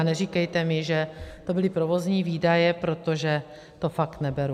A neříkejte mi, že to byly provozní výdaje, protože to fakt neberu.